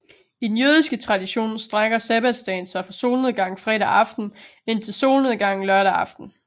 I den jødiske tradition strækker sabbatsdagen sig fra solnedgang fredag aften indtil solnedgang lørdag aften